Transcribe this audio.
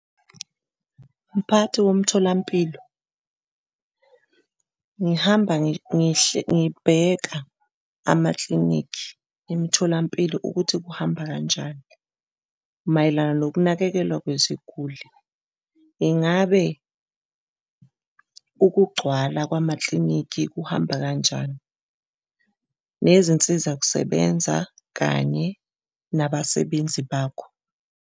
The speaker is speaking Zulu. Mphathi womtholampilo, ngihamba ngibheka amaklinikhi emtholampilo ukuthi kuhamba kanjani mayelana nokunakekelwa kweziguli. Ingabe ukugcwala kwamakilinikhi kuhamba kanjani nezinsiza kusebenza kanye nabasebenzi bakho.